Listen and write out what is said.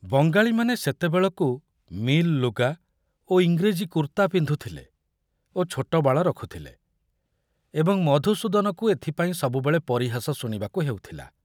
ବଙ୍ଗାଳୀମାନେ ସେତେବେଳକୁ ମିଲ୍‌ ଲୁଗା ଓ ଇଂରେଜୀ କୁର୍ତ୍ତା ପିନ୍ଧୁଥିଲେ ଓ ଛୋଟବାଳ ରଖୁଥିଲେ ଏବଂ ମଧୁସୂଦନକୁ ଏଥପାଇଁ ସବୁବେଳେ ପରିହାସ ଶୁଣିବାକୁ ହେଉଥିଲା।